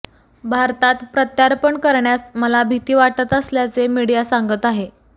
भारतात प्रत्यार्पण करण्यास मला भीती वाटत असल्याचे मीडिया सांगत आहे